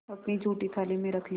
अपनी जूठी थाली में रख लिया